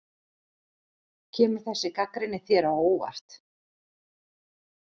Kemur þessi gagnrýni þér á óvart?